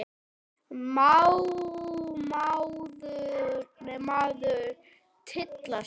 Má maður tylla sér?